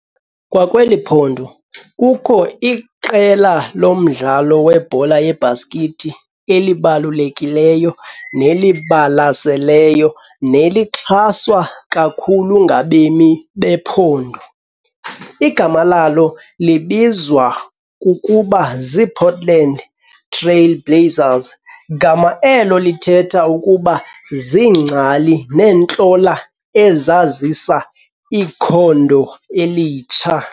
Kwakweli phondo kukho iqela lomdlalo webhola yebhaskithi elibalukekileyo nelibalaseleyo nelixhaswa kakhulu ngabemi bephondo. Igama lalo libizwa ukuba zi Portland Trail Blazers, gama elo elithetha ukuba zingcali nentlola ezazisa ikhondo elitsha.